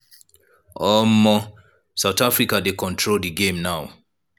south africa dey control di game now.